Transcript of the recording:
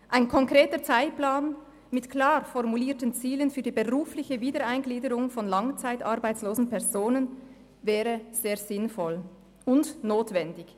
Ein konkreter Zeitplan mit klar formulierten Zielen für die berufliche Wiedereingliederung von langzeitarbeitslosen Personen wäre sehr sinnvoll und notwendig.